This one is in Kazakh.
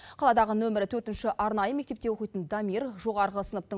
қаладағы нөмір төртінші арнайы мектепте оқитын дамир жоғарғы сыныптың